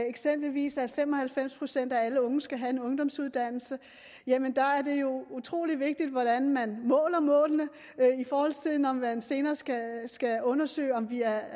eksempelvis at fem og halvfems procent af alle unge skal have en ungdomsuddannelse der er det jo utrolig vigtigt hvordan man måler målene når man senere skal undersøge om vi er